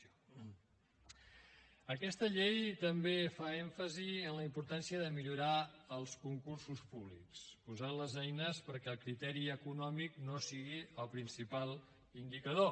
aquesta llei també fa èmfasi en la importància de millorar els concursos públics posant les eines perquè el criteri econòmic no sigui el principal indicador